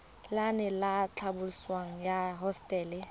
lenaane la tlhabololosewa ya hosetele